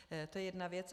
To je jedna věc.